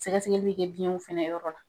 Sɛgɛsɛgɛliw be biɲɛw fɛnɛ yɔrɔ la.